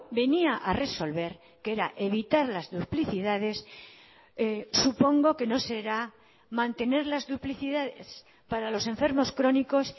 venía a resolver que era evitar las duplicidades supongo que no será mantener las duplicidades para los enfermos crónicos